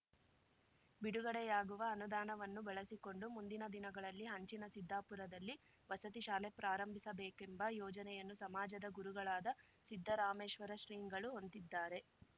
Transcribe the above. ಬಿಡುಗಡೆಯಾಗುವ ಅನುದಾನವನ್ನು ಬಳಸಿಕೊಂಡು ಮುಂದಿನ ದಿನಗಳಲ್ಲಿ ಹಂಚಿನ ಸಿದ್ಧಾಪುರದಲ್ಲಿ ವಸತಿ ಶಾಲೆ ಪ್ರಾರಂಭಿಸಬೇಕೆಂಬ ಯೋಜನೆಯನ್ನು ಸಮಾಜದ ಗುರುಗಳಾದ ಸಿದ್ದರಾಮೇಶ್ವರ ಶ್ರೀಗಳು ಹೊಂದಿದ್ದಾರೆ